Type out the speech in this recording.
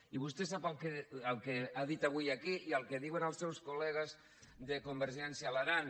i vostè sap el que ha dit avui aquí i el que diuen els seus col·legues de convergència a l’aran